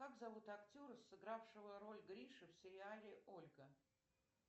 как зовут актера сыгравшего роль гриши в сериале ольга